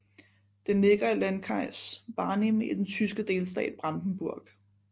Den ligger i landkreis Barnim i den tyske delstat Brandenburg